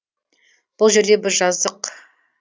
бұл жерде біз жаздық